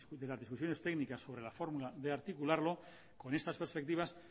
de las discusiones técnicas sobre la fórmula de articularlo con estas perspectivas